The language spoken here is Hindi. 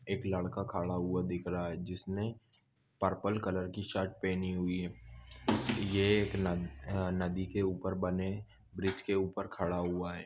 एक लडका खडा हुआ दिख रहा है जिसने पर्पल कलर कि शर्ट पेहनी हुई है ये एक अ न नदी के उपर बने ब्रिज के उपर खडा हुआ है।